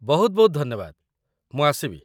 ବହୁତ ବହୁତ ଧନ୍ୟବାଦ, ମୁଁ ଆସିବି!